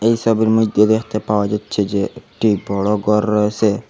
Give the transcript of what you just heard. এসবের মইধ্যে দেখতে পাওয়া যাচ্ছে যে একটি বড়ো গর রয়েছে।